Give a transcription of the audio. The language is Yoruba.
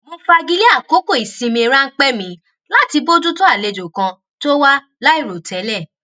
mo fagilé àkókò ìsinmi ránpẹ mi láti bójú tó àlejò kan tó wá láìròtẹlẹ